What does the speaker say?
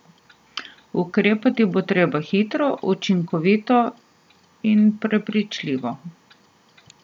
Ukrepati bo treba hitro, učinkovito in prepričljivo.